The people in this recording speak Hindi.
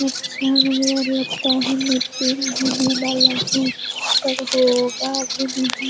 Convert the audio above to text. अच्छा लग रहा है और होगा के नही --